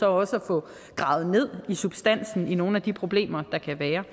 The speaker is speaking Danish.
også at få gravet ned i substansen af nogle af de problemer der kan være